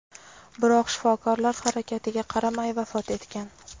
biroq shifokorlar harakatiga qaramay vafot etgan.